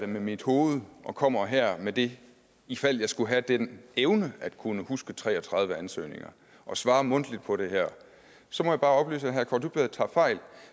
mit hoved og kommer her med det i fald jeg skulle have den evne at kunne huske tre og tredive ansøgninger og svarer mundtligt på det her så må jeg bare oplyse at herre kaare dybvad tager fejl